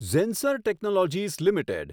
Zensar technologies limited